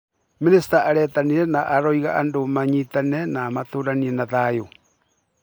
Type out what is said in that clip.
Mĩnĩsta aretanire na arauga andũ manyitane na matũranie na thayũ